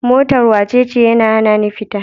Motar wacece? yana hanani fita.